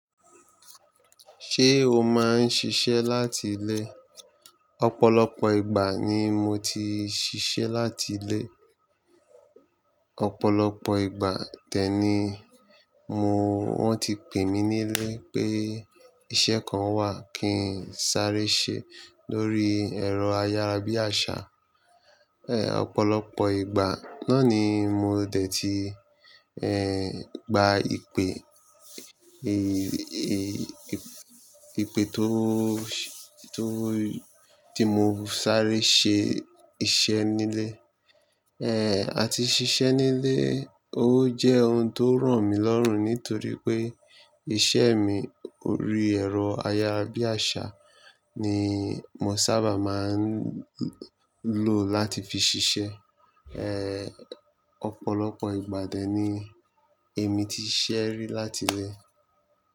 Ṣé o máa ń ṣiṣẹ́ láti ilé? Ọ̀pọ̀lọpọ̀ ìgbà ni mo ti ṣiṣẹ́ láti ilé. Ọ̀pọ̀lọpọ̀ ìgbà tẹ́ni mo wọ́n ti pè mí nílé pé iṣẹ́ kan wà kí n sáré ṣe lórí ẹ̀rọ ayárabíàṣá. Ẹ̀, ọ̀pọ̀lọpọ̀ ìgbà náà ni mo dè tí, ẹ́, gba ìpè, ìpè tó, tó, tí mo sáré ṣe iṣẹ́ nílé. Ẹ̀, àti ṣiṣẹ́ nílé, ó jẹ́ ohun tó ràn mí lọ́rùn nítorí pé iṣẹ́ mi lórí ẹ̀rọ ayárabíàṣá ni mo sábà máa ń lò láti fi ṣiṣẹ́. Ẹ̀, ọ̀pọ̀lọpọ̀ ìgbà tẹ́ni èmi ti ṣẹ́rí láti ilé.